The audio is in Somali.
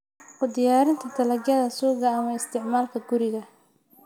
U diyaarinta dalagyada suuqa ama isticmaalka guriga.